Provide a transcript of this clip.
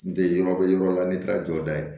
N tɛ yɔrɔ bɛ yɔrɔ la ne taara jɔda ye